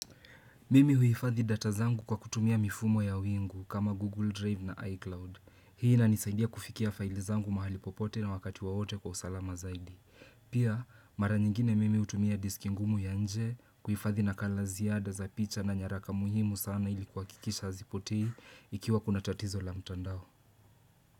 Mimi huhifadhi data zangu kwa kutumia mifumo ya wingu kama Google Drive na iCloud. Hii inanisaidia kufikia faili zangu mahali popote na wakati wowote kwa usalama zaidi. Pia, mara nyingine mimi hutumia diski ngumu ya nje, kuhifadhi nakala ziada za picha na nyaraka muhimu sana ili kuakikisha hazipotei ikiwa kuna tatizo la mtandao.